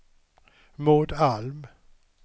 Maud Alm